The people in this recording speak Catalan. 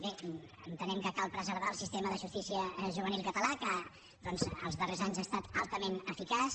bé entenem que cal preservar el sistema de justícia juvenil català que doncs els darrers anys ha estat altament eficaç